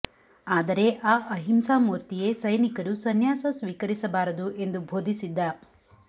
ಆದರೆ ಆ ಅಹಿಂಸಾ ಮೂರ್ತಿಯೇ ಸೈನಿಕರು ಸನ್ಯಾಸ ಸ್ವೀಕರಿಸಬಾರದು ಎಂದು ಬೋಧಿಸಿದ್ದ